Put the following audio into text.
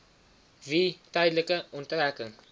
wie tydelike onttrekking